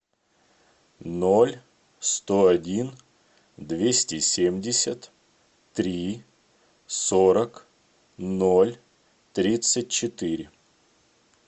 ноль сто один двести семьдесят три сорок ноль тридцать четыре